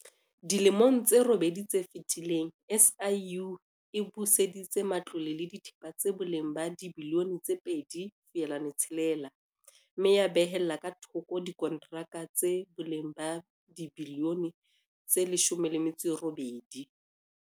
Dilemong tse robedi tse fetileng, SIU e buseditse matlole le dithepa tsa boleng ba R2.6 bilione mme ya behella ka thoko dikontraka tsa boleng ba R18 bilione.